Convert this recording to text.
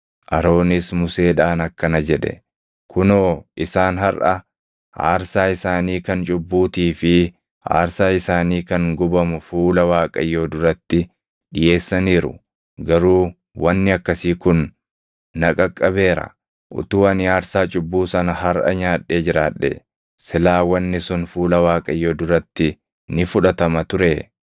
Aroonis Museedhaan akkana jedhe; “Kunoo, isaan harʼa aarsaa isaanii kan cubbuutii fi aarsaa isaanii kan gubamu fuula Waaqayyoo duratti dhiʼeessaniiru; garuu wanni akkasii kun na qaqqabeera. Utuu ani aarsaa cubbuu sana harʼa nyaadhee jiraadhee silaa wanni sun fuula Waaqayyoo duratti ni fudhatama turee?”